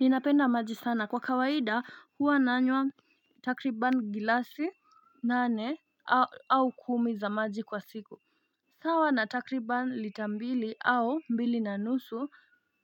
Ninapenda maji sana kwa kawaida huwa nanywa takriban gilasi nane au au kumi za maji kwa siku sawa na takriban lita mbili au mbili na nusu